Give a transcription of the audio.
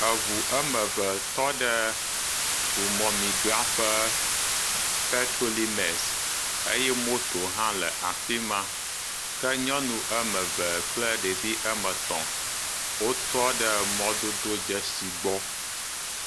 Eŋu eme ve tɔ ɖe mɔmemidraƒe petolimes eye moto hã le afi ma ke nyɔnu eme ve kple ɖevi eme tɔ̃ wotyɔ ɖe mɔdododzesi gbɔ.